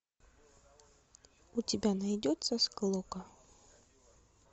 у тебя найдется склока